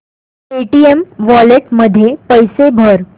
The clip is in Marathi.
पेटीएम वॉलेट मध्ये पैसे भर